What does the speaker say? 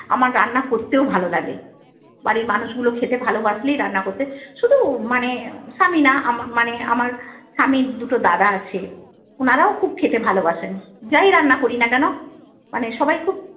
আমার রান্না করতেও ভালো লাগে। বাড়ির মানুষগুলো খেতে ভালোবাসলেই রান্না করতে শুধু মানে স্বামী না মানে আমার স্বামীর দুটো দাদা আছে। ওনারাও খুব খেতে ভালোবাসেন, যাই রান্না করি না কেন মানে সবাই খুব